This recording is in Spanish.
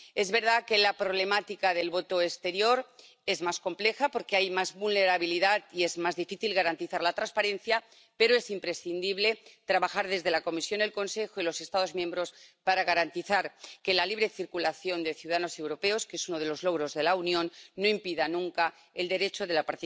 Es verdad que la problemática del voto exterior es más compleja porque hay más vulnerabilidad y es más difícil garantizar la transparencia, pero es imprescindible trabajar desde la Comisión, el Consejo y los Estados miembros para garantizar que la libre circulación de ciudadanos europeos, que es uno de los logros de la Unión, no impida nunca el derecho a la